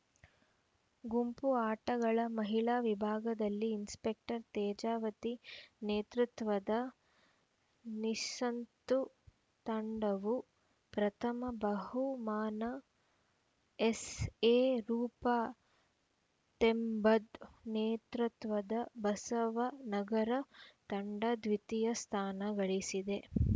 ಗುಂಪು ಆಟಗಳ ಮಹಿಳಾ ವಿಭಾಗದಲ್ಲಿ ಇನ್ಸಪೆಕ್ಟರ್‌ ತೇಜಾವತಿ ನೇತೃತ್ವದ ನಿಸ್ತಂತು ತಂಡವು ಪ್ರಥಮ ಬಹುಮಾನ ಎಸ್‌ಎ ರೂಪಾ ತೆಂಬದ್‌ ನೇತೃತ್ವದ ಬಸವ ನಗರ ತಂಡ ದ್ವಿತೀಯ ಸ್ಥಾನ ಗಳಿಸಿದೆ